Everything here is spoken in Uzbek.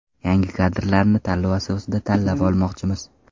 Yangi kadrlarni tanlov asosida tanlab olmoqchimiz.